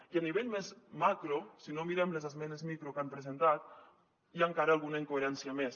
i a nivell més macro si no mirem les esmenes micro que han presentat hi ha encara alguna incoherència més